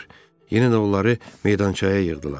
Yenə də onları meydançaya yığdılar.